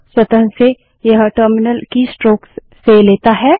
स्वतः से यह टर्मिनल कीस्ट्रोक्स से लेता है